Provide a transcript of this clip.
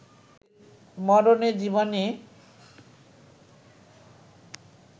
মরণে-জীবনে